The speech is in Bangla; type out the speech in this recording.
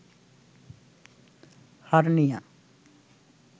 হার্নিয়া